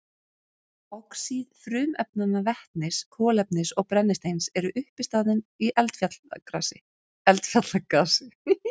Oxíð frumefnanna vetnis, kolefnis og brennisteins eru uppistaðan í eldfjallagasi.